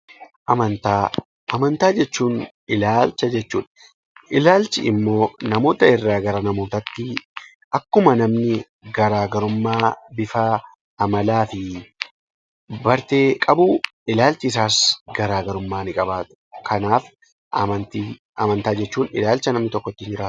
Amantaa Amantaa jechuun ilaalcha jechuudha. Ilaalchi immoo namoota irraa namootatti akkuma namoonni garaagarummaa bifaa, amalaa bartee qabu ilaalchi isaas garaagarummaa ni qabaata. Amantaa jechuun ilaalcha namni tokko ittiin jiraatu.